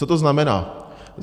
Co to znamená?